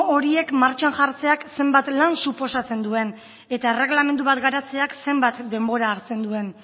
horiek martxan jartzeak zenbat lan suposatzen duen eta erregelamendu bat garatzeak zenbat denbora hartzen duen